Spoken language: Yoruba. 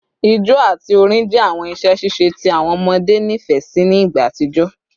Ijó ati orin jẹ awọn iṣẹ ṣiṣe ti awọn ọmọde nifẹ si ni igba atijọ